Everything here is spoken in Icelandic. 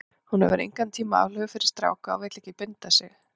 Hún hefur engan tíma aflögu fyrir stráka og vill ekki binda sig.